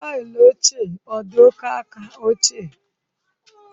Taịlị ochie ọ dị oke aka ochie?